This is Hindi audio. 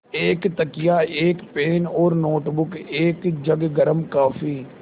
एक तकिया एक पेन और नोटबुक एक जग गर्म काफ़ी